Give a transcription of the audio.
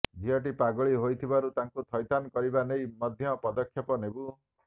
ଝିଅଟି ପାଗଳୀ ହୋଇଥିବାରୁ ତାକୁ ଥଇଥାନ କରିବା ନେଇ ମଧ୍ୟ ପଦକ୍ଷେପ ନେବୁ